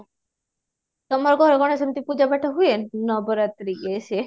ତମୋ ଘରେ କ'ଣ ଏମିତି ପୂଜା ପାଠ ହୁଏ ଏମିତି ନବରାତ୍ରି ୟେ ସିଏ?